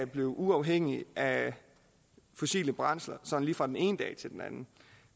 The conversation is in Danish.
blive uafhængige af fossile brændsler sådan lige fra den ene dag til den anden